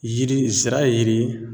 Yiri zira ye yiri ye